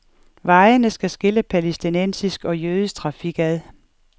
Vejene skal skille palæstinensisk og jødisk trafik ad.